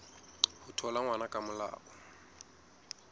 ho thola ngwana ka molao